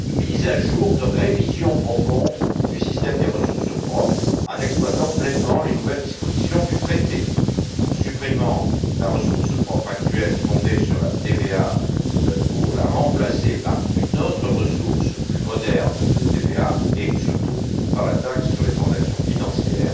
mise à jour, de révision profonde du système des ressources propres en exploitant pleinement les nouvelles dispositions du traité, en supprimant la ressource propre actuelle fondée sur la TVA pour la remplacer par une autre ressource plus moderne de TVA et, surtout, par la taxe sur les transactions financières,